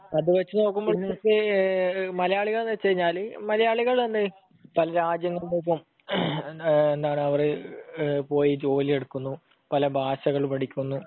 അതുവച്ചു നോക്കിക്കഴിഞ്ഞാൽ ഇപ്പോൾ മലയാളികൾ എന്നുവെച്ചുകഴിഞ്ഞാൽ പല രാജ്യങ്ങളിലേയ്ക്കും എന്താണ് അവർ പോയി ജോലിയെടുക്കുന്നു, പല ഭാഷകൾ പഠിക്കുന്നു,